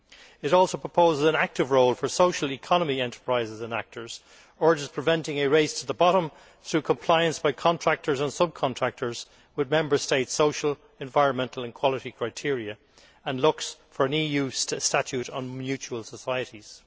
It also proposes an active role for social economy enterprises and actors, urges that a race to the bottom be prevented through compliance by contractors and sub contractors with Member States' social, environmental, and quality criteria, and looks for an EU statute on mutual societies.